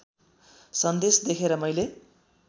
सन्देश देखेर मैले